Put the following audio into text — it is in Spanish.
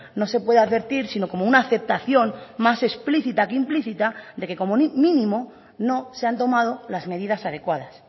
no se puede advertir sino como una aceptación más explícita que implícita de que como mínimo no se han tomado las medidas adecuadas